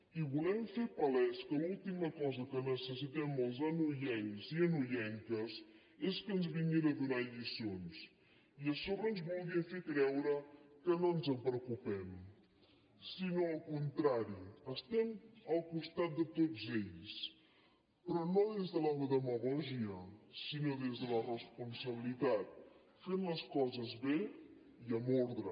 i volem fer palès que l’última cosa que necessitem els anoiencs i anoienques és que ens vinguin a donar lliçons i a sobre ens vulguin fer creure que no ens en preocupem al contrari estem al costat de tots ells però no des de la demagògia sinó des de la responsabilitat fent les coses bé i amb ordre